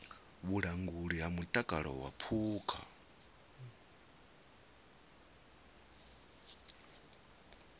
vhulanguli ha mutakalo wa phukha